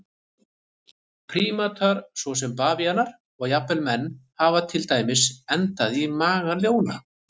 Prímatar svo sem bavíanar og jafnvel menn hafa til dæmis endað í maga ljóna.